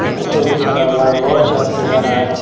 ऊपर में चघा हुआ है वह चघते जा रहा है।